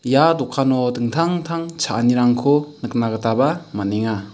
ia dokano dingtang tang cha·anirangko nikna gitaba man·enga.